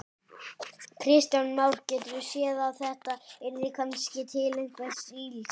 Kristján Már: Geturðu séð að þetta yrði kannski til einhvers ills?